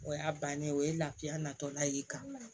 O y'a bannen o ye lafiya natɔla y'i kan